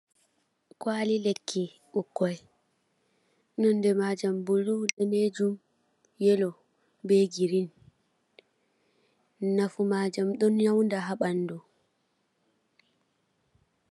Kwaali lekki ɓukkoi, nonde majam blu, daneejum, yelo, be girin. Nafu majam ɗon nyaunda ha ɓandu.